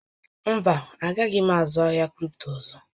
Mba, a gaghị m azụ ahịa kripto ọzọ